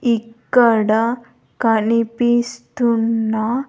ఇక్కడ కనిపిస్తున్న.